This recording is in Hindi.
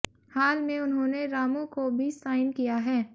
हाल में उन्होंने रामू को भी साइन किया है